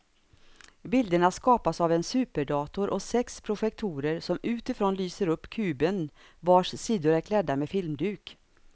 Bilderna skapas av en superdator och sex projektorer som utifrån lyser upp kuben vars sidor är klädda med filmduk.